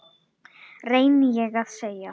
reyni ég að segja.